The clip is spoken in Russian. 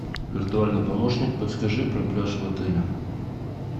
виртуальный помощник расскажи про пляж в отеле